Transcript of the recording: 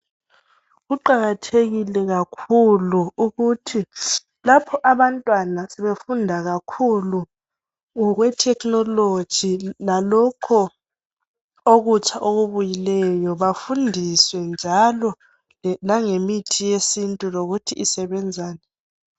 kuqakathekile kakhulu ukuthi lapho abantwana ebefunda kakhulu ngokwe technology lalokho okutsha okubuyileyo bafundiswe njalo langemithi yesintu ukuthi isebenzani